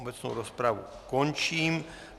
Obecnou rozpravu končím.